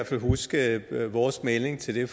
fald huske vores melding til det